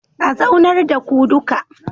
A zaunar da ku duka